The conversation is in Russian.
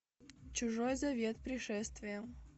чужой завет пришествие